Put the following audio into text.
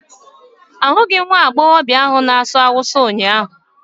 Ahụghị m nwa agbọghọ ahụ na-asụ Hausa ụnyahụ